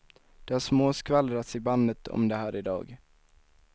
Det har småskvallrats i bandet om det här i dag.